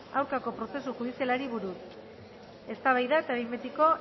aurkako prozesu judizialari buruz eztabaida eta behin betiko